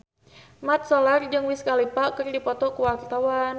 Mat Solar jeung Wiz Khalifa keur dipoto ku wartawan